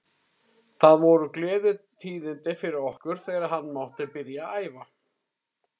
Það voru gleðitíðindi fyrir okkur þegar hann mátti byrja að æfa.